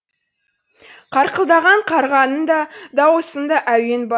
қарқылдаған қарғаның да дауысында әуен